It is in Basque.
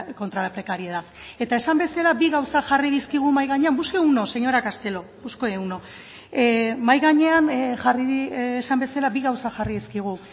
contra la precariedad eta esan bezala bi gauza jarri dizkigu mahai gainean busque uno señora castelo busque uno mahai gainean jarri esan bezala bi gauza jarri dizkigu